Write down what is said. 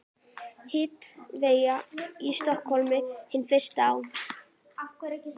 Hitaveita í Stykkishólmi, hin fyrsta á